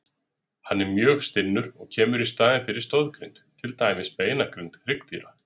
Hann er mjög stinnur og kemur í staðinn fyrir stoðgrind, til dæmis beinagrind hryggdýra.